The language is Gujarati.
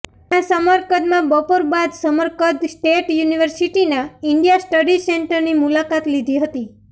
ત્યાં સમરકંદમાં બપોર બાદ સમરકંદ સ્ટેટ યુનિવર્સિટીના ઇન્ડિયા સ્ટડી સેન્ટરની મુલાકાત લીધી હતી